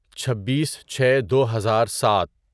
چھببیس چھے دوہزار سات